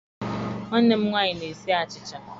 Nwanne m nwanyi na-esi achicha.